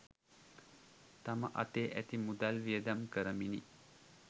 තම අතේ ඇති මුදල් වියදම් කරමිනි